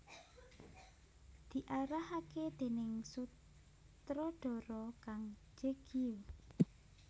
Diarahaké déning sutradhara Kang Je Gyu